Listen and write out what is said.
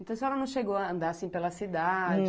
Então a senhora não chegou a andar, assim, pela cidade?